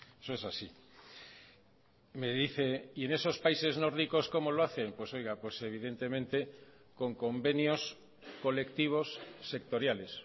eso es así y me dice y en esos países nórdicos cómo lo hacen pues oiga pues evidentemente con convenios colectivos sectoriales